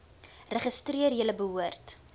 registreer julle behoort